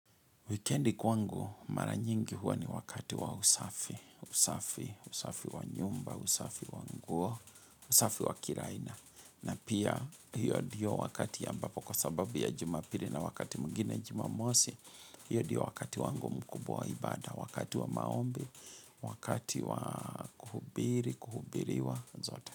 Wikendi kwangu mara nyingi huwa ni wakati wa usafi, usafi, usafi wa nyumba, usafi wa nguo, usafi wa kila aina. Na pia hiyo ndio wakati ya ambapo kwa sababu ya jumapili na wakati mwingine jumamosi, hiyo ndio wakati wangu mkubwa wa ibada. Wakati wa maombi, wakati wa kuhubiri, kuhubiriwa, zote.